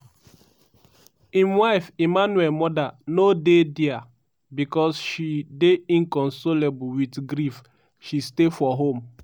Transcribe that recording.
im wife emmanuel mother no dey dia becos she dey inconsolable wit grief she stay for home.